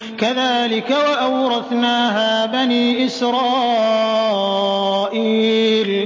كَذَٰلِكَ وَأَوْرَثْنَاهَا بَنِي إِسْرَائِيلَ